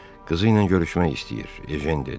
Qızı ilə görüşmək istəyir, Ejen dedi.